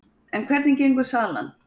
En hvernig gengur salan?